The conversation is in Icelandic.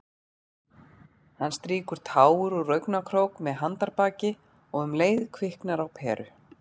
Hann strýkur tár úr augnakrók með handarbaki- og um leið kviknar á peru.